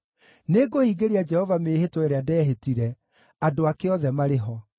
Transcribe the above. Nĩngũhingĩria Jehova mĩĩhĩtwa ĩrĩa ndehĩtire, andũ ake othe marĩ ho.